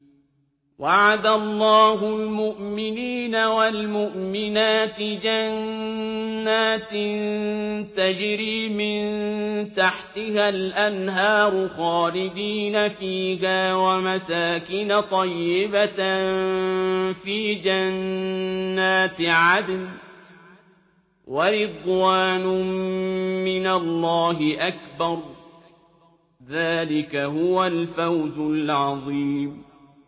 وَعَدَ اللَّهُ الْمُؤْمِنِينَ وَالْمُؤْمِنَاتِ جَنَّاتٍ تَجْرِي مِن تَحْتِهَا الْأَنْهَارُ خَالِدِينَ فِيهَا وَمَسَاكِنَ طَيِّبَةً فِي جَنَّاتِ عَدْنٍ ۚ وَرِضْوَانٌ مِّنَ اللَّهِ أَكْبَرُ ۚ ذَٰلِكَ هُوَ الْفَوْزُ الْعَظِيمُ